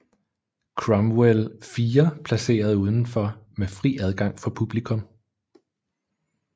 Cromwell IV placeret udenfor med fri adgang for publikum